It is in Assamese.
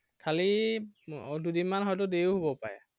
খালী এৰ দুদিনমান হয়তো দেৰিও হব পাৰে।